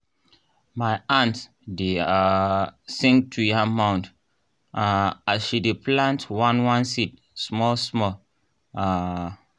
my aunt dey um sing to yam mound um as she dey plant one one seed small small. um